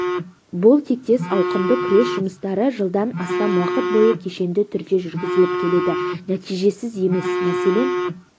бұл тектес ауқымды күрес жұмыстары жылдан астам уақыт бойы кешенді түрде жүргізіліп келеді нәтижесіз емес мәселен